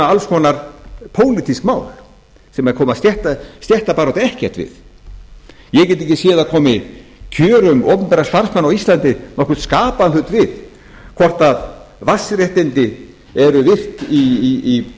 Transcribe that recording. alls konar pólitísk mál sem koma stéttabaráttu ekkert við ég get ekki séð að það komi kjörum opinbera starfsmanna á íslandi nokkurn skapaðan hlut við hvort vatnsréttindi eru virt í